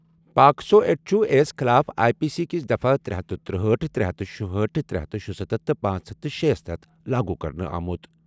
POCSO act چھُ اے یَس خٕلاف آئی پی سی کِس دفعہ ترے ہتھ ترٗوہأٹھ ترے ہتھ شُہأٹھ تہٕ ترے ہتھ شُستَتھ تہٕ پانژھ ہتھ شے ہَس تحت لاگو کرنہٕ آمُت۔